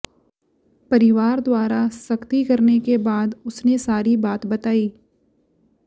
परिवार द्वारा सख्ती करने के बाद उसने सारी बात बताई